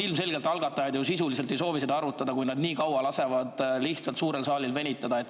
Ilmselgelt algatajad sisuliselt ju ei soovi neid arutada, kui nad siin suures saalis nii kaua venitavad.